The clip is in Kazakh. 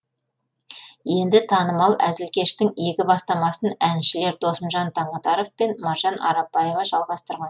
енді танымал әзілкештің игі бастамасын әншілер досымжан таңатаров пен маржан арапбаева жалғастырған